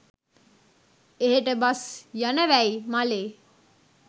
එහෙට බස් යනවැයි මලේ